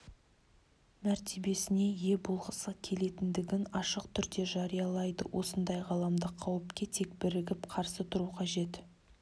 мәртебесіне ие болғысы келетіндігін ашық түрде жариялайды осындай ғаламдық қауіпке тек бірігіп қарсы тұру қажет